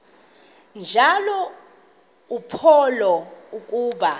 njalo uphalo akuba